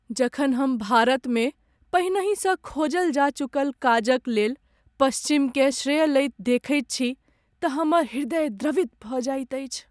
जखन हम भारतमे पहिनहिसँ खोजल जा चुकल काजक लेल पश्चिमकेँ श्रेय लैत देखैत छी तऽ हमर हृदय द्रवित भऽ जाइत अछि।